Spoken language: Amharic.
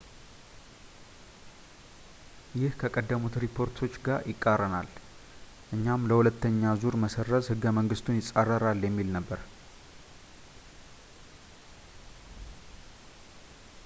ይህ ከቀደሙት ሪፖርቶች ጋር ይቃረናል ፣ ይህም ለሁለተኛ ዙር መሰረዝ ሕገ-መንግስቱን ይፃረራል የሚል ነበር